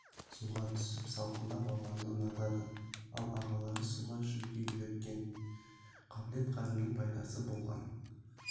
суға түсіп салқындап алғанды ұнатады ал ағалары суға жүзуге үйреткен екен қабілет-қарымның пайдасы болған